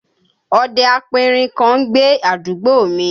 Ọdẹ aperin kan ń gbé àdúgbò mi